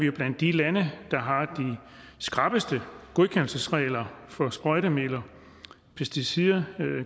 er blandt de lande der har de skrappeste godkendelsesregler for sprøjtemidler pesticider